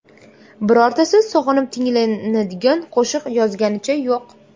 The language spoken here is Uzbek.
Birortasi sog‘inib tinglanadigan qo‘shiq yozganicha yo‘q.